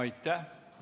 Aitäh!